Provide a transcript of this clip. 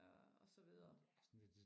øh og så videre